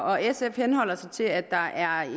og sf henholder sig til at der er